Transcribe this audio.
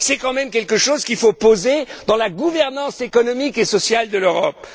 C'est quand même quelque chose qu'il faut poser dans la gouvernance économique et sociale de l'Europe.